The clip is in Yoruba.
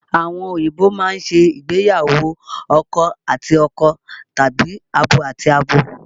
Àwọn òyìnbó máa ń ṣe ìgbéyàwó akọ àti akọ tàbí abo àti abo